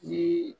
Ni